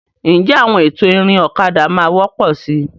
Ǹjẹ́ àwọn ètò ìrìn ọ̀kadà máa wọ́pọ̀ síi?